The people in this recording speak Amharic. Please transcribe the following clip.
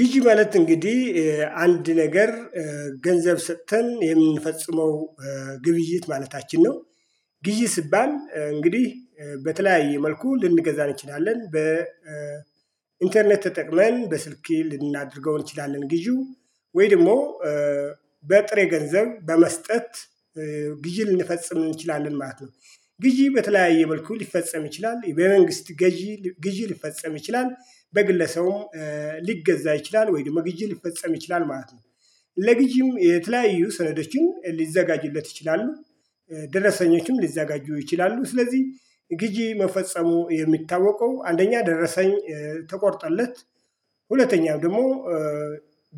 ግዢ ማለት እንግዲህ አንድ ነገር ገንዘብ ስተን የምንፈጽመው ግብይት ማለታችን ነው። ግዢ ሲባል እንግዲህ በተለያየ መልኩ ልንገዛ እንችላለን በኢንተርኔት ተጠቅመን በስልኬ ልናደርገው እንችላለን ግዢው ወይ ደግሞ በጥሬ ገንዘብ በመስጠት ግዣ ልንፈጽም እንችላለን ማለት ነው። ግዢ በተለያየ መልኩ ሊፈጸም ይችላል በመንግስት ግዢ ሊፈጸም ይችላል በግለሰቡም ሊገዛ ይችላል ወይን ደግሞም መግዣት ሊፈጸም ይችላል ማለት ነው። ለግዢው የተለያዩ ሰዶችን ሊዘጋጁለት ይችላሉ ደረሰኞችም ሊዘጋጁ ይችላሉ። ስለዚህ ግዢ መፈጸሙ የሚታወቀው አንደኛ ደረሰኝ ተቆርጦለት ሁለተኛም ደግሞ